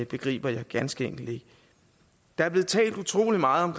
begriber jeg ganske enkelt ikke der er blevet talt utrolig meget om